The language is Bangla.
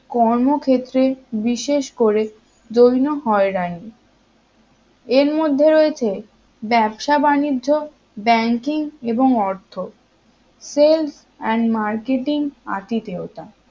কর্মক্ষেত্রে বিশেষ করে যৌন হয়রানি এর মধ্যে রয়েছে ব্যবসা বাণিজ্য ব্যাঙ্কিং এবং অর্থ sales and marketing আতিথেয়তা